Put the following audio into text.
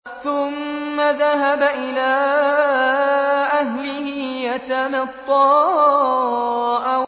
ثُمَّ ذَهَبَ إِلَىٰ أَهْلِهِ يَتَمَطَّىٰ